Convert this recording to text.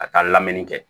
A ka lamini kɛ